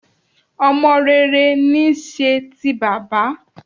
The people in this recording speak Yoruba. Ọmọ rere ní í ṣe ti bàbá